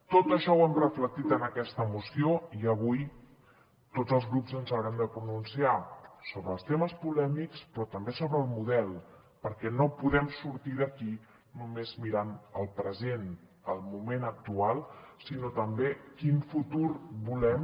tot això ho hem reflectit en aquesta moció i avui tots els grups ens haurem de pronunciar sobre els temes polèmics però també sobre el model perquè no podem sortir d’aquí només mirant el present el moment actual sinó també quin futur volem